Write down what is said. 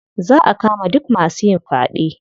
Za a kama duk masu yin faɗe.